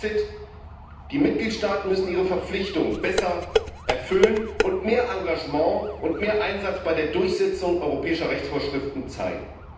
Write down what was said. Fazit Die Mitgliedstaaten müssen ihre Verpflichtung besser erfüllen und mehr Engagement und mehr Einsatz bei der Durchsetzung europäischer Rechtsvorschriften zeigen.